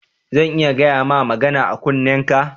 Zan iya gayama magana a kunnenka?